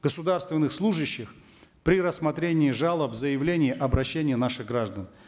государственных служащих при рассмотрении жалоб заявлений обращений наших граждан